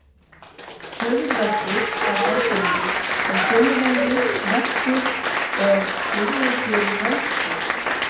Höfuðverkur var algengur og sömuleiðis verkur og stífleiki í hálshrygg.